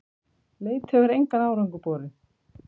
Leit hefur engan árangur borið.